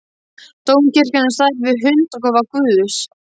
Dómkirkjan er á stærð við hundakofa guðs.